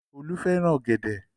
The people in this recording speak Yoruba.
Olú fẹ́ràn ọ̀gẹ̀dẹ̀.